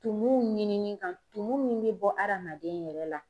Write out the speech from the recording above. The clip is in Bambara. Tumuw ɲinini kan tumu min be bɔ adamaden yɛrɛ la